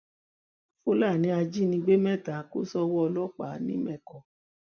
fúlàní ajínigbé mẹta kò sówó ọlọpàá nìmẹkọ